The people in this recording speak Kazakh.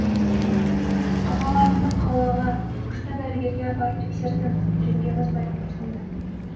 ағаларыңды қалаға күшті дәрігерге апарып тексерттім жеңгеміз баяу күрсінді